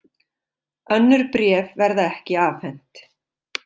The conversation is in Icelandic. Önnur bréf verða ekki afhent